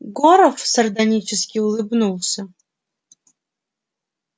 горов сардонически улыбнулся